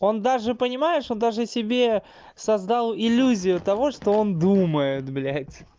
он даже понимаешь он даже себе создал иллюзию того что он думает блядь